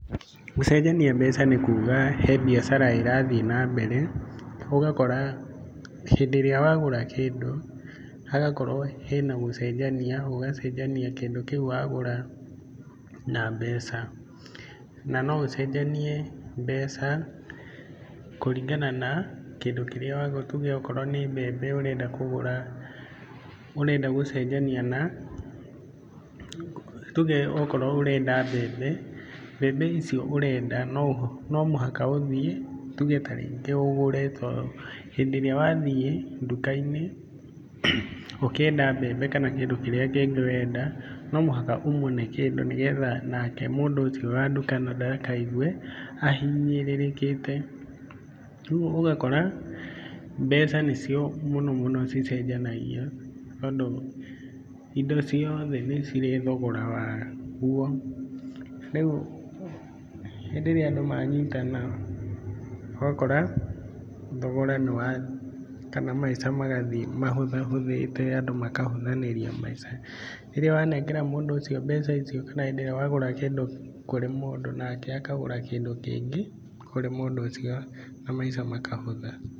Gũcenjania mbeca nĩ kuga he mbiacara ĩrathiĩ na mbere ũgakora hĩndĩ ĩrĩa wagũra kĩndũ hagakorwo hena gũcenjania, ũgacenjania kĩndũ kĩu wagũra na mbeca na no ũcenjanie mbeca kũringana na kĩndũ kĩrĩa wagũra, nĩ tuge okorwo nĩ mbembe ũrenda kũgũra, ũrenda gũcenjania na, tuge okorwo ũrenda mbembe, mbembe icio ũrenda no mũhaka ũthiĩ tuge ta rĩngĩ ũgũre tondũ hĩndĩ ĩrĩa wathiĩ nduka-inĩ ũkĩenda mbembe kana kĩndũ kĩrĩa kĩngĩ ũrenda, no mũhaka ũmũne kĩndũ nĩ getha nake mũndũ ũcio wa nduka na ndakigue ahinyĩrĩrĩkĩte. Kũoguo ũgakora mbeca nĩcio mũno mũno cicenjanagio tondũ indo ciothe nĩ cirĩ thogora waguo. Rĩu hĩndĩ ĩrĩa andũ manyitana, ũgakora thogora nĩ wathiĩ kana maca magathiĩ mahũthahũthĩte andũ makahũthanĩria maica. Rĩrĩa wanengera mũndũ ũcio mbeca ici kana hĩndĩ ĩrĩa wagũra kĩndũ kũrĩ mũndũ nake akagũra kĩndũ kĩngĩ kũrĩ mũndũ ũcio na maica makahũtha.